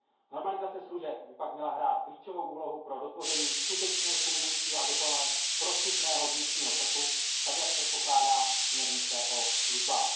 Normalizace služeb by pak měla hrát klíčovou úlohu pro dotvoření skutečně fungujícího a dokonale prostupného vnitřního trhu, tak jak předpokládá směrnice o službách.